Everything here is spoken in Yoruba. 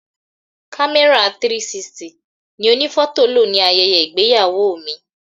Kamera 360 ni onifoto lo ní ayẹyẹ ìgbéyàwó mi.